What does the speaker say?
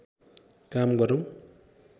काम गरौं